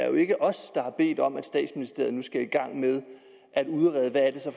jo ikke er os der har bedt om at statsministeriet nu skal i gang med at udrede hvad